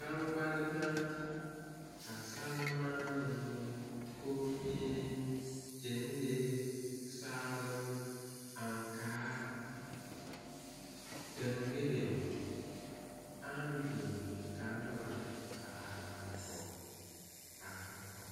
Gbaŋgbal naa ka salmaanee komie gyaŋlee saaloŋ aŋkaa daŋgele aŋ biŋ ka noba a are are kɔŋ a are kɔŋ.